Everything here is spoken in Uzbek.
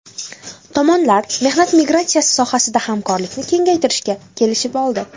Tomonlar mehnat migratsiyasi sohasidagi hamkorlikni kengaytirishga kelishib oldi.